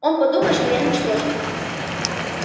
он подумает что я ничтожество